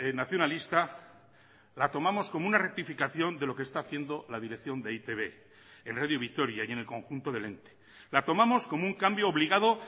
nacionalista la tomamos como una rectificación de lo que está haciendo la dirección de e i te be en radio vitoria y en el conjunto del ente la tomamos como un cambio obligado